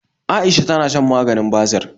Aisha tana shan maganin basir